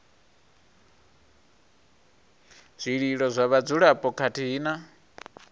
zwililo zwa vhadzulapo khathihi na